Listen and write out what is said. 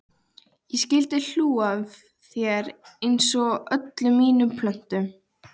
Ég skyldi hlú að þér einsog öllum mínum plöntum.